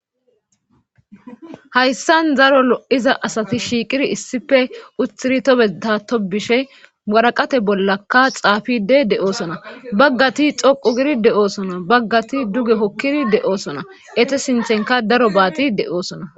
hayssan zaro lo7iza asati shiiqiri issife utiri tobedato bishe waraqate bollaka xaafide de7oosona baggati xoqu giri deoosona baggati duge hokkidi de7oosona ete sinthenka daro baaxi de7oosona